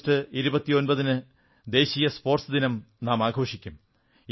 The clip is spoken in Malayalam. ആഗസ്റ്റ് 29 ന് നാം ദേശീയ സ്പോർട്സ് ദിനം ആഘോഷിക്കും